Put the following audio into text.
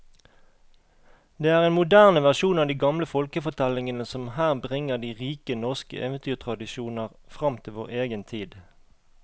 Det er en moderne versjon av de gamle folkefortellingene som her bringer de rike norske eventyrtradisjoner fram til vår egen tid.